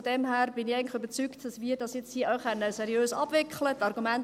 Von daher bin ich eigentlich überzeugt, dass wir dies jetzt seriös abwickeln können.